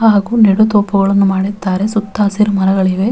ಹಾಗು ನೆಡು ತೋಪುಗಳನ್ನು ಮಾಡಿದ್ದಾರೆ ಸುತ್ತ ಹಸಿರು ಮರಗಳಿವೆ.